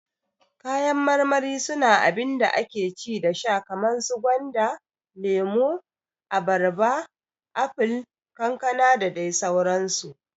Kayan marmari su na abinda ake ci da sha kaman su gwanda, lemo, abarba, apol, kankana dadai sauran su